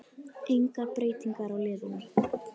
Engar breytingar á liðunum